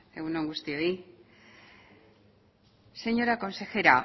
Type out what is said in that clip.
egun on guztioi señora consejera